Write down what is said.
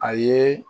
A ye